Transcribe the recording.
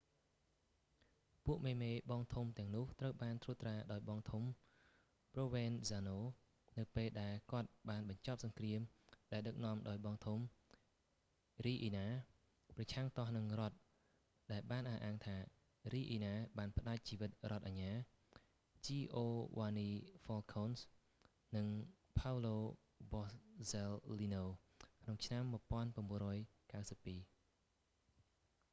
ពួកមេ ៗ បងធំទាំងនោះត្រូវបានត្រួតត្រាដោយបងធំ ព្រោវែនហ្សាណូ provenzano នៅពេលដែលគាត់បានបញ្ចប់សង្គ្រាមដែលដឹកនាំដោយបងធំ រីអ៊ីណា riina ប្រឆាំងទាស់នឹងរដ្ឋដែលបានអះអាងថា រីអ៊ីណា riina បានផ្តាច់ជីវិតរដ្ឋអាជ្ញា ជីអូវ៉ានី ហ្វ៊ែលខូន giovanni falcone និងផោវឡូ បសស៊ែលលីណូ paolo borsellino ក្នុងឆ្នាំ 1992